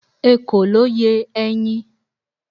ekòló ye eyin